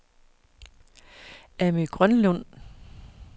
Amy Grønlund